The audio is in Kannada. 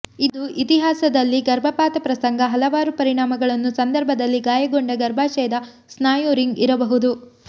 ಅದು ಇತಿಹಾಸದಲ್ಲಿ ಗರ್ಭಪಾತ ಪ್ರಸಂಗ ಹಲವಾರು ಪರಿಣಾಮಗಳನ್ನು ಸಂದರ್ಭದಲ್ಲಿ ಗಾಯಗೊಂಡ ಗರ್ಭಾಶಯದ ಸ್ನಾಯು ರಿಂಗ್ ಇರಬಹುದು